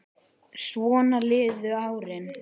Svona liðu árin.